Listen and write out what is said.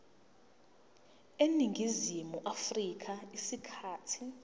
eningizimu afrika isikhathi